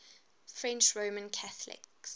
french roman catholics